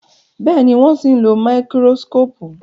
Béèni wón sìn ló Máíkírósíkópù.